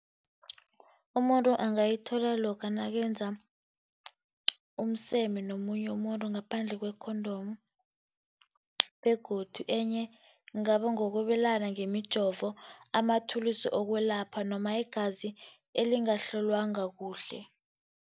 Umuntu angayithola loka nakenza umseme nomunye umuntu ngaphandle kwe-condom, begodu enye kungaba ngokwabelana ngemijovo, amathulusi wokwelapha noma igazi elingahlolwanga kuhle.